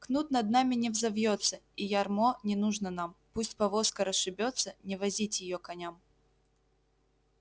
кнут над нами не взовьётся и ярмо не нужно нам пусть повозка расшибётся не возить её коням